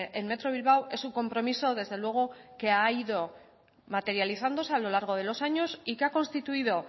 en metro bilbao es un compromiso desde luego que ha ido materializándose a lo largo de los años y que ha constituido